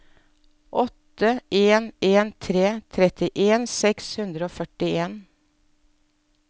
åtte en en tre trettien seks hundre og førtien